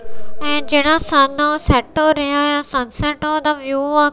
ਜਿਹੜਾ ਸੰਨ ਹੈ sunset ਦਾ ਵਿਊ ਹੈ।